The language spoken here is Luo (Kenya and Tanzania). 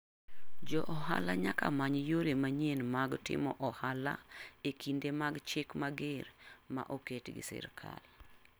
Jo ohala nyaka many yore manyien mag timo ohala e kinde mag chikmager ma oket gi sirikal .